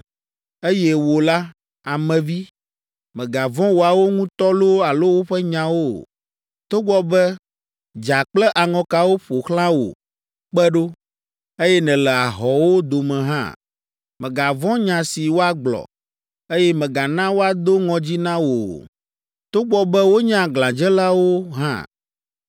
Eye wò la, ame vi, mègavɔ̃ woawo ŋutɔ loo alo woƒe nyawo o, togbɔ be dza kple aŋɔkawo ƒo xlã wò kpe ɖo, eye nèle ahɔ̃wo dome hã. Mègavɔ̃ nya si woagblɔ, eye mègana woado ŋɔdzi na wò o, togbɔ be wonye aglãdzelawo hã.